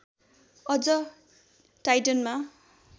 अझ टाइटनमा